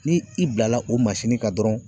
Ni i bila la o kan dɔrɔn